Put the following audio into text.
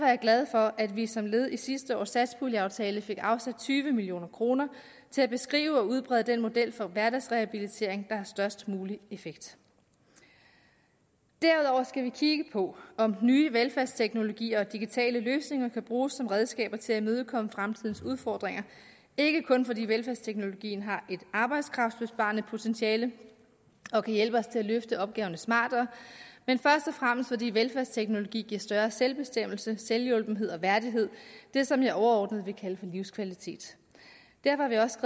jeg glad for at vi som led i sidste års satspuljeaftale fik afsat tyve million kroner til at beskrive og udbrede den model for hverdagsrehabilitering der har størst mulig effekt derudover skal vi kigge på om nye velfærdsteknologier og digitale løsninger kan bruges som redskaber til at imødekomme fremtidens udfordringer ikke kun fordi velfærdsteknologien har et arbejdskraftbesparende potentiale og kan hjælpe os til at løfte opgaverne smartere men først og fremmest fordi velfærdsteknologi giver større selvbestemmelse selvhjulpenhed og værdighed det som jeg overordnet vil kalde for livskvalitet derfor har vi også